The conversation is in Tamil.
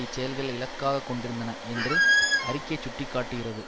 இச்செயல்கள் இலக்காக கொண்டிருந்தன என்று அறிக்கை சுட்டி காட்டுகிறது